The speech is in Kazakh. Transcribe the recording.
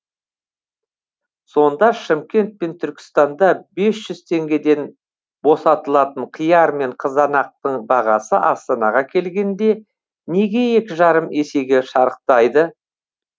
сонда шымкент пен түркістанда бес жүз теңгеден босатылатын қияр мен қызанақтың бағасы астанаға келгенде неге екі жарым есеге шарықтайды